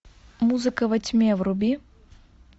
музыка во тьме вруби